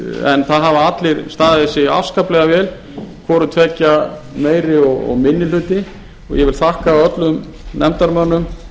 en það hafa allir staðið sig afskaplega vel hvoru tveggja meiri hluti og minni hluti og ég vil þakka öllum nefndarmönnum